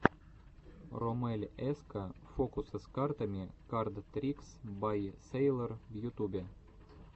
роммель эска фокусы с картами кард трикс бай сэйлор в ютубе